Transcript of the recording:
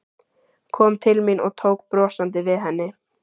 Kom til mín og tók brosandi við henni.